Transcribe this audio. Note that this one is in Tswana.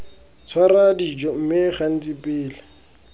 tshwara dijo mme gantsi pele